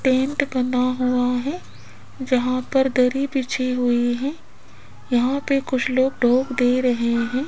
Tent बना हुआ है जहां पर दरी बिछी हुई है यहां पे कुछ लोग डोब दे रहे है।